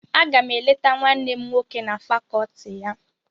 Aga m eleta nwanne m nwoke na fàkọọtị ya.